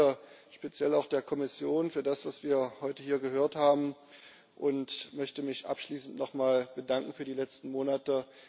Ich danke speziell auch der Kommission für das, was wir heute hier gehört haben. Abschließend möchte ich mich nochmal bedanken für die letzten Monate.